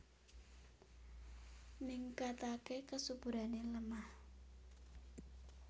Ningkataké kesuburané lemah